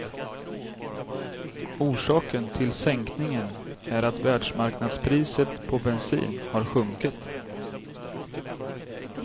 Orsaken till sänkningen är att världsmarknadspriset på bensin har sjunkit.